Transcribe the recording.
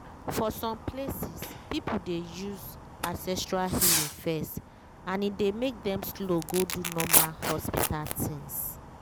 for some places people dey use ancestral healing first and e dey make dem slow go do normal hospital things.